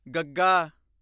ਗੱਗਾ